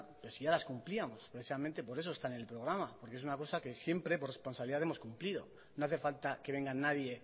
pero si ya las cumplíamos precisamente por eso están en el programa porque es una cosa que siempre por responsabilidad hemos cumplido no hace falta que venga nadie